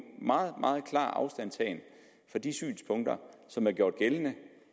meget klar afstandtagen fra de synspunkter som er gjort gældende